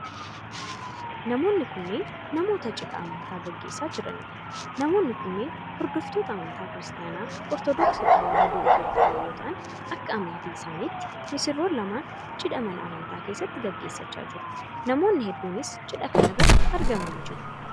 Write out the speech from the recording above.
Namoonni kunneen, namoota cidha amantaa gaggeessaa jiranii dha. Namoonni kunneen hordoftoota amantaa Kiristaana Ortodooksii Tawaahidoo Itoophiyaa yoo ta'an, akka amantii isaanitti misirroon lamaan cidha mana amantaa keessatti gaggeessaa jiru. Namoonni hedduunis cidha kana irratti argamanii jiru.